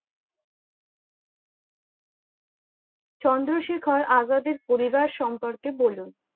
চন্দ্রশেখর আজাদের পরিবার সম্পর্কে বলুন?